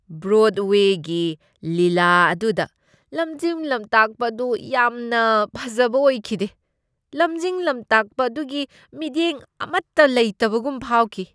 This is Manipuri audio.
ꯕ꯭ꯔꯣꯗꯋꯦꯒꯤ ꯂꯤꯂꯥ ꯑꯗꯨꯗ ꯂꯝꯖꯤꯡ ꯂꯝꯇꯥꯛꯄ ꯑꯗꯨ ꯌꯥꯝꯅ ꯐꯖꯕ ꯑꯣꯏꯈꯤꯗꯦ꯫ ꯂꯝꯖꯤꯡ ꯂꯝꯇꯥꯛꯄ ꯑꯗꯨꯒꯤ ꯃꯤꯠꯌꯦꯡ ꯑꯃꯇ ꯂꯩꯇꯕꯒꯨꯝ ꯐꯥꯎꯈꯤ꯫